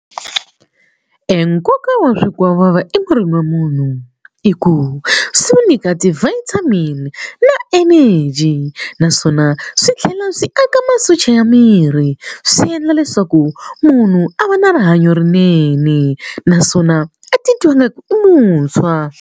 E nkoka wa swikwavava emirini wa munhu i ku swi n'wu nyika ti-vitamin na energy naswona swi tlhela swi aka masocha ya miri swi endla leswaku munhu a va na rihanyo rinene naswona a titwa ingaku i muntshwa.